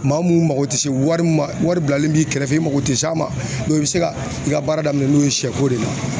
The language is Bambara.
Maa minnu mago tɛ se wari ma wari wari bilali b'i kɛrɛfɛ i mago tɛ se a ma i bɛ se ka i ka baara daminɛ n'o ye sɛko de ye